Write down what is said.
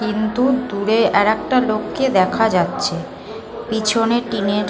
কিন্তু দূরে আর একটা লোককে দেখা যাচ্ছে পিছনে টিনের--